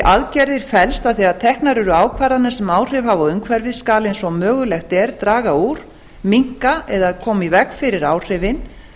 aðgerðir felst að þegar teknar eru ákvarðanir sem áhrif hafa á umhverfið skal eins og mögulegt er draga úr minnka eða koma í veg fyrir áhrifin